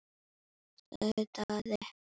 sagði Daði.